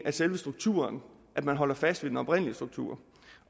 selve strukturen at man holder fast ved den oprindelige struktur